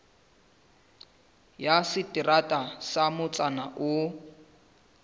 ya seterata sa motsana oo